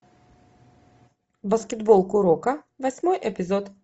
баскетбол куроко восьмой эпизод